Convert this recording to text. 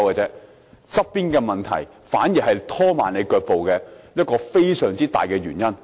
其實，相關問題反而是拖慢腳步的一大原因。